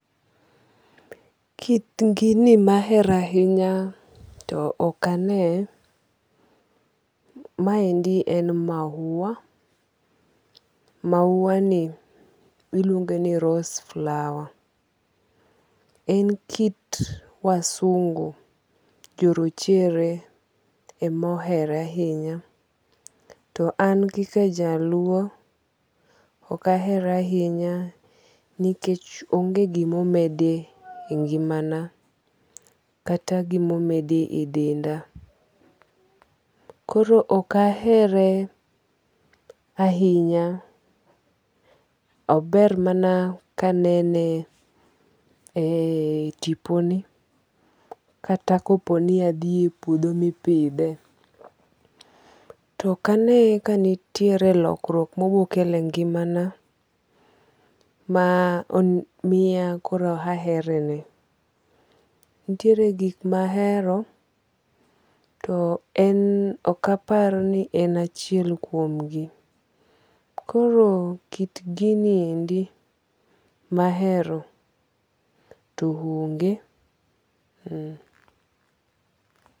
Kit gini mahero ahinya to ok ane. Ma endi en mahuwa. Mahuwa ni iluonge ni rose flower. En kit wasungu jo rochere emohere ahinya. To an kaka jaluo, ok ahere ahinya nikech onge gimomedo e ngima na kata gimomedo e denda. Koro ok ahere ahinya. Ober mana kanene e tiponi kata kopo ni adhi e puodho mipidhe. Tokane kane ka nitiere lokruok mobokelo e ngimana ma miya koro ahere ne. Nitiere gik mahero to en ok apar ni en achiel kuom gi. Koro kit gini endi mahero to onge.